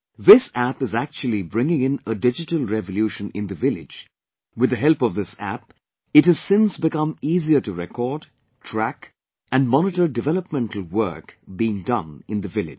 This App is actually bringing in a Digital Revolution in the village, with the help of this App, it has since become easier to record, track and monitor developmental work being done in the village